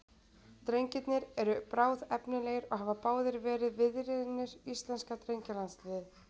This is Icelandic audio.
Drengirnir eru bráðefnilegir og hafa báðir verið viðriðnir íslenska drengjalandsliðið.